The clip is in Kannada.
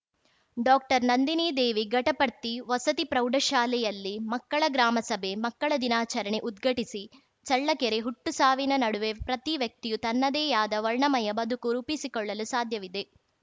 ಡಾಕ್ಟರ್ನಂದಿನಿದೇವಿ ಘಟಪರ್ತಿ ವಸತಿ ಪ್ರೌಢಶಾಲೆಯಲ್ಲಿ ಮಕ್ಕಳ ಗ್ರಾಮ ಸಭೆ ಮಕ್ಕಳ ದಿನಾಚರಣೆ ಉದ್ಘಟಿಸಿ ಚಳ್ಳಕೆರೆ ಹುಟ್ಟು ಸಾವಿನ ನಡುವೆ ಪ್ರತಿ ವ್ಯಕ್ತಿಯು ತನ್ನದೇಯಾದ ವರ್ಣಮಯ ಬದುಕು ರೂಪಿಸಿಕೊಳ್ಳಲು ಸಾಧ್ಯವಿದೆ